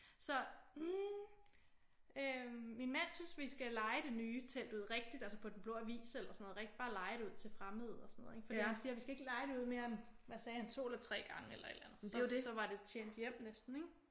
Så hm øh min mand synes vi skal leje det nye telt ud rigtigt altså på Den Blå Avis eller sådan noget bare leje det ud til fremmede og sådan noget ik fordi han siger vi skal ikke leje det ud mere end hvad sagde han 2 eller 3 gange eller et eller andet så var det tjent hjem næsten ik?